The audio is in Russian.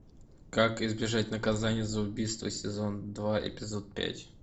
как избежать наказания за убийство сезон два эпизод пять